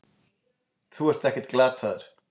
Þú ert ekkert glataður.